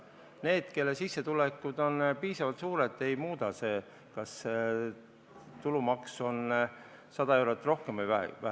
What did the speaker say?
Neil, kelle sissetulekud on piisavalt suured, ei muuda see midagi, kas tulumaks on 100 eurot rohkem või vähem.